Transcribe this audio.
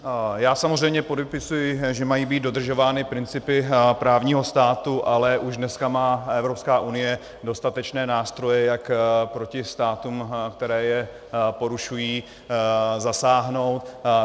Já samozřejmě podepisuji, že mají být dodržovány principy právního státu, ale už dneska má Evropská unie dostatečné nástroje, jak proti státům, které je porušují zasáhnout.